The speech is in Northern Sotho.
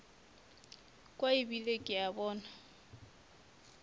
kwa ebile ke a bona